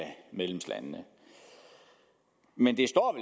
medlemslandene men det står